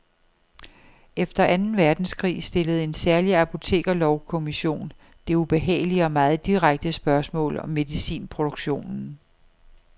Efter anden verdenskrig stillede en særlig apotekerlovkommission det ubehagelige og meget direkte spørgsmål om medicinproduktionen.